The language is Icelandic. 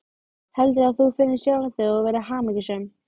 Nokkur djúpbergsinnskot eru frá ísöld þótt þau liggi í blágrýtismynduninni.